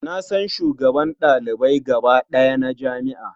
Na san shugaban ɗalibai gaba ɗaya na jami'a.